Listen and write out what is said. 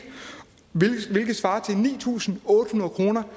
hvilket svarer til ni tusind otte hundrede kroner